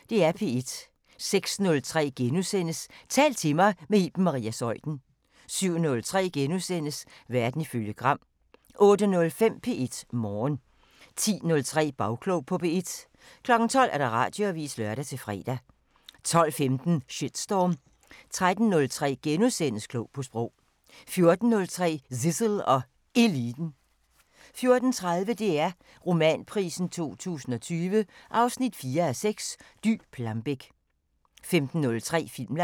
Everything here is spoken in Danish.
06:03: Tal til mig – med Iben Maria Zeuthen * 07:03: Verden ifølge Gram * 08:05: P1 Morgen 10:03: Bagklog på P1 12:00: Radioavisen (lør-fre) 12:15: Shitstorm 13:03: Klog på Sprog * 14:03: Zissel og Eliten 14:30: DR Romanprisen 2020 4:6 – Dy Plambeck 15:03: Filmland